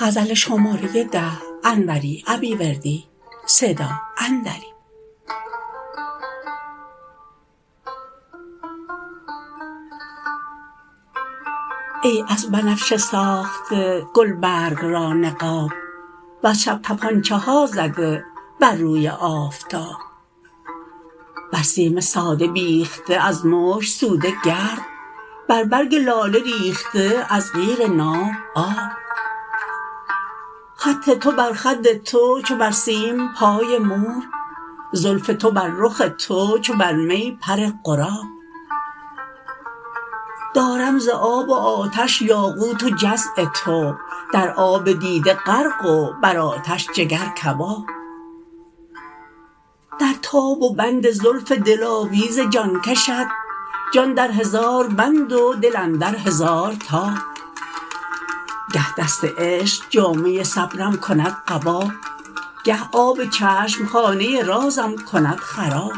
ای از بنفشه ساخته گلبرگ را نقاب وز شب تپانچه ها زده بر روی آفتاب بر سیم ساده بیخته از مشک سوده گرد بر برگ لاله ریخته از قیر ناب آب خط تو بر خد تو چو بر سیم پای مور زلف تو بر رخ تو چو بر می پر غراب دارم ز آب و آتش یاقوت و جزع تو در آب دیده غرق و بر آتش جگر کباب در تاب و بند زلف دلاویز جان کشت جان در هزار بند و دل اندر هزار تاب گه دست عشق جامه صبرم کند قبا گه آب چشم خانه رازم کند خراب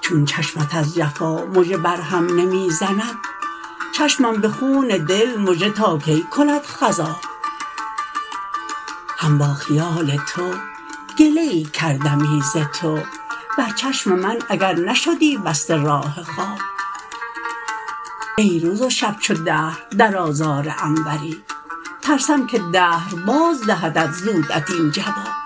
چون چشمت از جفا مژه بر هم نمی زند چشمم به خون دل مژه تا کی کند خضاب هم با خیال تو گله ای کردمی ز تو بر چشم من اگر نشدی بسته راه خواب ای روز و شب چو دهر در آزار انوری ترسم که دهر باز دهد زودت این جواب